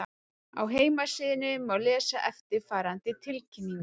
Á heimasíðunni má lesa eftirfarandi tilkynningu